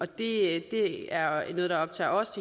det er er noget der optager os